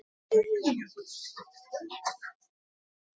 Þeir segja mér ekkert meira.